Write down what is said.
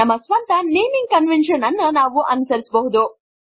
ನಮ್ಮ ಸ್ವಂತ naming conventions ಅನ್ನು ನಾವು ಅನುಸರಿಸಬಹುದು